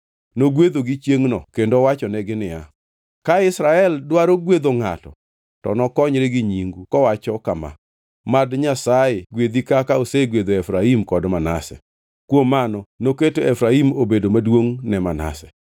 Nogwedhogi chiengʼno, kendo owachonegi niya, “Ka Israel dwaro gwedho ngʼato to nokonyre gi nyingu kowacho kama, ‘Mad Nyasaye gwedhi kaka osegwedho Efraim kod Manase.’ ” Kuom mano noketo Efraim obedo maduongʼ ne Manase.